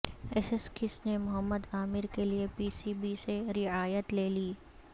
Essex نے محمد عامر کےلئے P C B سے رعایت لے لی